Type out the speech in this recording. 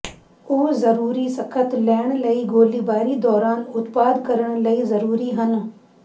ਉਹ ਜ਼ਰੂਰੀ ਸਖ਼ਤ ਲੈਣ ਲਈ ਗੋਲੀਬਾਰੀ ਦੌਰਾਨ ਉਤਪਾਦ ਕਰਨ ਲਈ ਜ਼ਰੂਰੀ ਹਨ